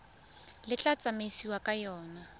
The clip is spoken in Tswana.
le tla tsamaisiwang ka yona